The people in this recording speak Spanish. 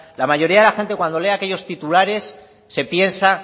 la mayoría de la gente cuando lee aquellos titulares se piensa